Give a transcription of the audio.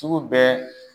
Sugu bɛɛ